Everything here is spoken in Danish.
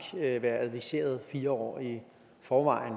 være adviseret fire år i forvejen